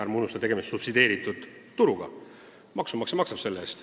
Ärme unustame, et tegemist on subsideeritud energia turuga – maksumaksja maksab selle eest.